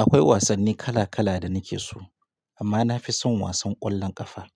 Akwai wasanni kala kala da nake so amma na fi son wasan ƙwallon ƙafa.